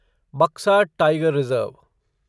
Buxa tiger reserve